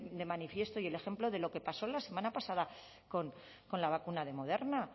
de manifiesto y el ejemplo de lo que pasó la semana pasada con la vacuna de moderna